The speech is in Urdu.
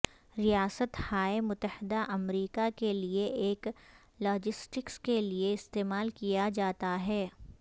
ریاست ہائے متحدہ امریکہ کے لئے ایک لاجسٹکس کے لئے استعمال کیا جاتا ہے